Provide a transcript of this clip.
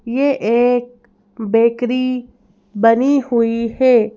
ये एक बेकरी बनी हुईं हैं।